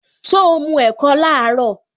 So mu ẹ̀kọ laaro?